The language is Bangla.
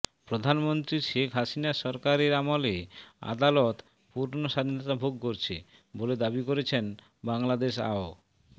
প্রধানমন্ত্রী শেখ হাসিনার সরকারের আমলে আদালত পূর্ণ স্বাধীনতা ভোগ করছে বলে দাবি করেছেন বাংলাদেশ আও